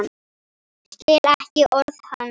Skil ekki orð hans.